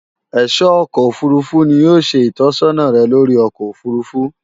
Ẹ̀sọ́ ọkọ̀ òfurufú ni yóò ṣe ìtọ́sọ́nà rẹ̀ lóri ọkọ̀ òfurufú